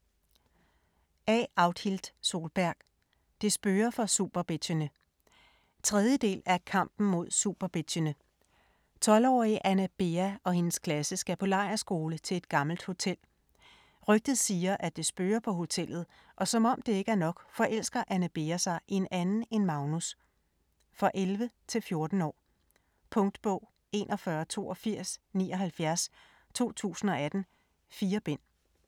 Solberg, A. Audhild: Det spøger for superbitchene 3. del af Kampen mod superbitchene. 12-årige Anne Bea og hendes klasse skal på lejrskole til et gammelt hotel. Rygtet siger, at det spøger på hotellet, og som det ikke er nok, forelsker Anne Bea sig i en anden end Magnus. For 11-14 år. Punktbog 418279 2018. 4 bind.